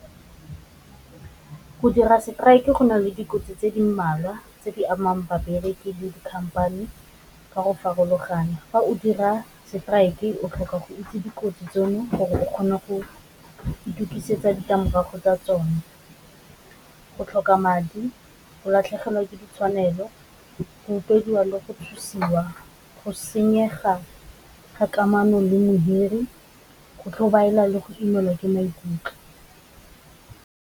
Go dira strike go na le dikotsi tse di mmalwa tse di amang babereki le di khamphane ka go farologana, fa o dira strike o tlhoka go itse dikotsi tseno gore o kgone go itukisetsa ditlamorago tsa tsone, go tlhoka madi, go latlhegelwa ke ditshwanelo, utswediwa le go tshosiwa, go senyega ga kamano le modiri go tlhobaela le go imelwa ke maikutlo.